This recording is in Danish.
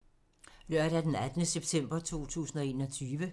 Lørdag d. 18. september 2021